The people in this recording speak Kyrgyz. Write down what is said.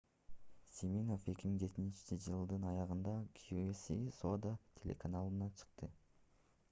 симинофф 2017-жылдын аягында qvc соода телеканалына чыкты